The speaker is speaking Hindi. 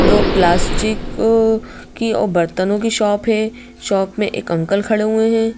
वो प्लास्टिक की और बर्तनों की शॉप है शॉप में एक अंकल खड़े हुए हैं।